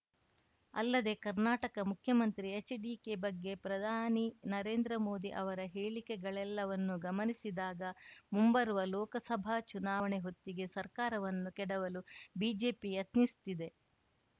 ಅಲ್ಲದೆ ಕರ್ನಾಟಕ ಮುಖ್ಯಮಂತ್ರಿ ಎಚ್‌ಡಿಕೆ ಬಗ್ಗೆ ಪ್ರಧಾನಿ ನರೇಂದ್ರ ಮೋದಿ ಅವರ ಹೇಳಿಕೆಗಳೆಲ್ಲವನ್ನೂ ಗಮನಿಸಿದಾಗ ಮುಂಬರುವ ಲೋಕಸಭಾ ಚುನಾವಣೆ ಹೊತ್ತಿಗೆ ಸರ್ಕಾರವನ್ನು ಕೆಡವಲು ಬಿಜೆಪಿ ಯತ್ನಿಸುತ್ತಿದೆ